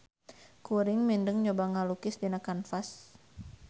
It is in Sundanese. Kuring mindeng nyoba ngalukis dina kanvas